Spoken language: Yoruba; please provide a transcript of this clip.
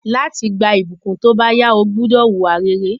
Láti gba ìbùkún tóbáyá, o gbúdọ̀ wùwà rere